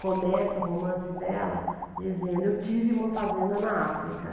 começa o romance dela dizendo, eu tive uma fazenda na África.